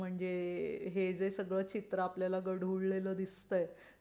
म्हणजे हे जे सगळं चित्र आपल्या ला गढूळलेला दिसतय ते